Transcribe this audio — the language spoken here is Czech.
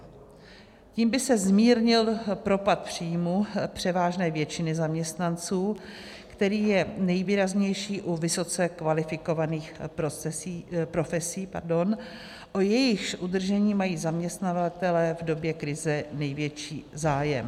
Tím by se zmírnil propad příjmu převážné většiny zaměstnanců, který je nejvýraznější u vysoce kvalifikovaných profesí, o jejichž udržení mají zaměstnavatelé v době krize největší zájem.